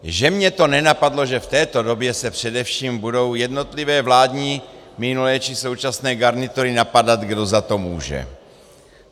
Že mě to nenapadlo, že v této době se především budou jednotlivé vládní minulé či současné garnitury napadat, kdo za to může.